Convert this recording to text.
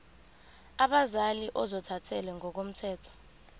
abazali ozothathele ngokomthetho